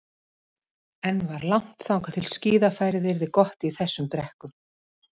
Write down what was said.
Enn var langt þangað til að skíðafærið yrði gott í þessum brekkum.